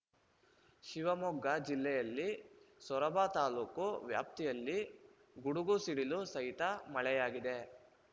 ಶಿವಮೊಗ್ಗ ಜಿಲ್ಲೆಯಲ್ಲಿ ಸೊರಬ ತಾಲೂಕು ವ್ಯಾಪ್ತಿಯಲ್ಲಿ ಗುಡುಗು ಸಿಡಿಲು ಸಹಿತ ಮಳೆಯಾಗಿದೆ